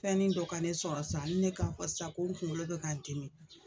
Fɛnni dɔ ka ne sɔrɔ sa hali ne k'a fɔ sa ko n kuŋolo bɛ ka n dimi